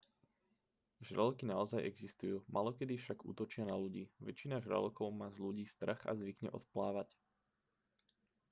žraloky naozaj existujú málokedy však útočia na ľudí väčšina žralokov má z ľudí strach a zvykne odplávať